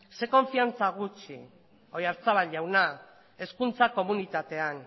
zein konfidantza gutxi oyarzabal jauna hezkuntza komunitatean